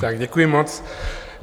Tak děkuji moc.